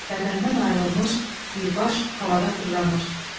Bədəndən ayrılmış bir baş havada fırlanır.